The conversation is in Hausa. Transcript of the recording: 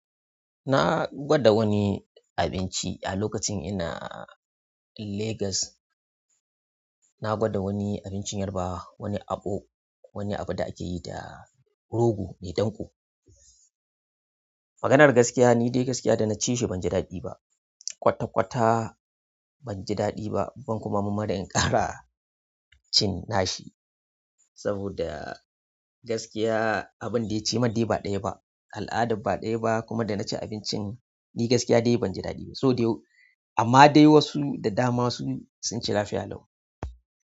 Na gwada wani abinci a lokacin ina Lagos. Na gwada wani abincin yarabawa, wani akpu, wani abu da ake yi da rogo ne danko. Maganar gaskiya, ni dai gaskiya da na ci shi banji daɗi ba. Kwata kwata bani daɗi ba, ban kuma marmari in ƙara cin shi. Saboda gaskiya abin dai cimar dai ba ɗaya ba, al'adar ba ɗaya ba. Kuma da na ci abincin ni gaskiya dai banji daɗi ba. So dai, amma dai wasu da dama sun ci lafiya lau.